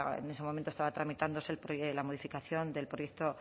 era en ese momento estaba tramitándose la modificación del proyecto